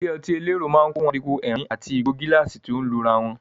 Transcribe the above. Ilé ọtí elérò máa ń kùn fún ariwo ẹ̀rín àti ìgò gíláàsì tó ń lura wọn.